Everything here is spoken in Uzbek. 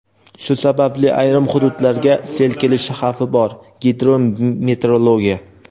Shu sababli ayrim hududlarga sel kelishi xavfi bor – "Gidrometeorologiya".